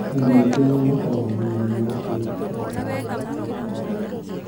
Andũ aingĩ arĩa makoragwo na mũrimũ ũcio matikoragwo na ũhoti wa kwaria.